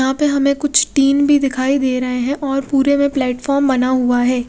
यहां पे हमें कुछ टीन भी दिखाई दे रहे है और पूरे में प्लेटफॉर्म बना हुआ है।